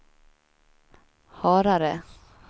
Harare